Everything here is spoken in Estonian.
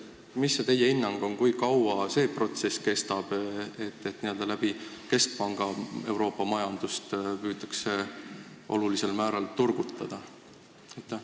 Mis on teie hinnang, kui kaua see protsess kestab, et keskpanga kaudu püütakse Euroopa majandust olulisel määral turgutada?